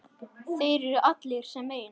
Þeir allir sem einn?